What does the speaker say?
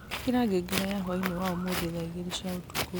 ĩkĩra ngengere ya hwaĩ-inĩ wa ũmũthĩ thaa igĩrĩ cia ũtukũ